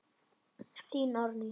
Þín, Árný.